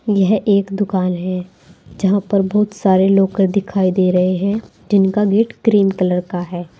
यह एक दुकान है जहां पर बहुत सारे लाकर दिखाई दे रहे हैं जिनका गेट क्रीम कलर का है।